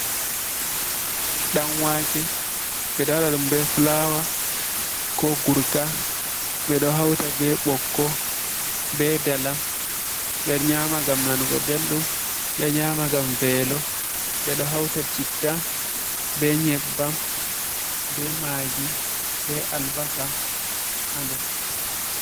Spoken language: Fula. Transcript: Ɗanwaake. Ɓe ɗo waɗa ɗum be fulawa, ko gurka, ɓe ɗo hauta be ɓokko, be dalam, ɓe nyaama ngam nanugo belɗum, ɓe nyaama ngam veelo, ɓe ɗo hauta citta, be nyebbam, be maagi, be albasa haa nder.